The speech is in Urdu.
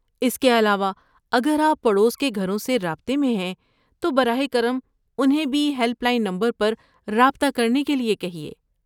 اس کے علاوہ، اگر آپ پڑوس کے گھروں سے رابطے میں ہیں تو براہ کرم انہیں بھی ہیلپ لائن پر رابطہ کرنے کے لیے کہیے۔